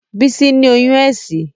Bísí ní oyún ẹ̀sín